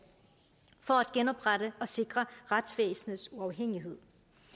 for at genoprette og sikre retsvæsenets uafhængighed